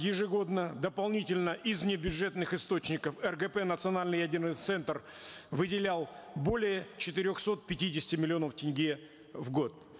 ежегодно дополнительно из небюджетных источников ргп национальный ядерный центр выделял более четырехсот пятидесяти миллионов тенге в год